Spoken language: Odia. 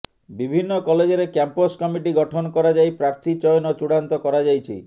ବିଭିନ୍ନ କଲେଜରେ କ୍ୟାମ୍ପସ କମିଟି ଗଠନ କରାଯାଇ ପ୍ରାର୍ଥୀ ଚୟନ ଚୂଡାନ୍ତ କରାଯାଇଛି